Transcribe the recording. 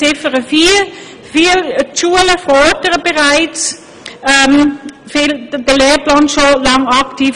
Zu Ziffer 4: Die Schulen fördern dies mit dem Lehrplan schon lange aktiv.